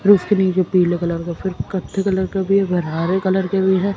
रोशनी जो पीले कलर का फिर कत्थे कलर के भी है हरे कलर के भी है।